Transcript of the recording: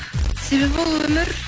себебі ол өмір